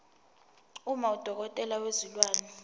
uma udokotela wezilwane